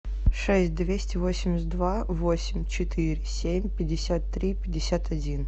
шесть двести восемьдесят два восемь четыре семь пятьдесят три пятьдесят один